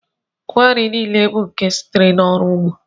Ngwa nri niile bụ nke sitere n'ọrụ ugbo